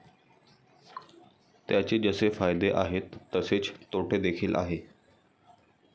त्याचे जसे फायदे आहेत तसेच तोटेदेखील आहे.